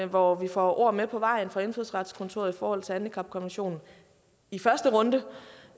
hvor vi får ord med på vejen fra indfødsretskontoret i forhold til handicapkonventionen i første runde